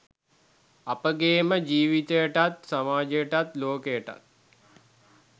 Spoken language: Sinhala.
අපගේම ජීවිතයටත් සමාජයටත් ලෝකයටත්